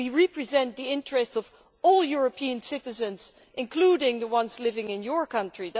we represent the interests of all European citizens, including the ones living in your country.